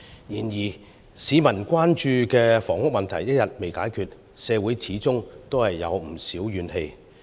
然而，市民關注的房屋問題一天未能解決，社會便始終有不少怨氣。